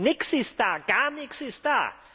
Nichts ist da, gar nichts ist da!